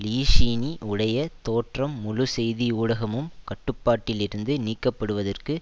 ளியீநீஷீனீ உடைய தோற்றம் முழு செய்தி ஊடகமும் கட்டுப்பாட்டிலிருந்து நீக்கப்படுவதற்கு